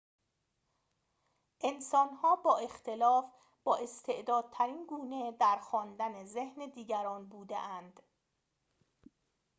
انسان‌ها با اختلاف بااستعدادترین گونه در خواندن ذهن دیگران بوده‌اند